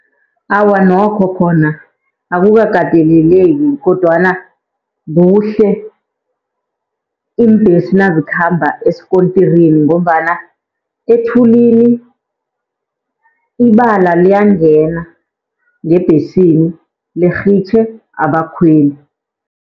Awa, nokho khona akukakateleleki kodwana kuhle iimbhesi nazikhamba esikontirini, ngombana ethulini ibala liyangena ngebhesini lirhitjhe abakhweli.